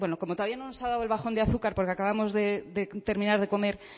como todavía no nos ha dado el bajón de azúcar porque acabamos de terminar de comer